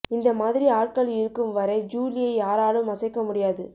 இந்த மாதிரி ஆட்கள் இருக்கும் வரை ஜூலியை யாராலும் அசைக்க முடியாது